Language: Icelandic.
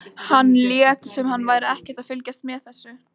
Hann lét sem hann væri ekkert að fylgjast með þessu.